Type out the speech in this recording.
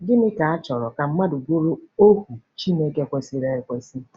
Gịnị ka a chọrọ ka mmadụ bụrụ ohu Chineke kwesịrị ekwesị?